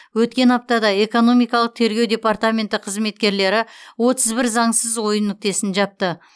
өткен аптада экономикалық тергеу департаменті қызметкерлері отыз бір заңсыз ойын нүктесін жапты